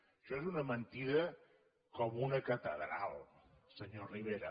això és una mentida com una catedral senyor rivera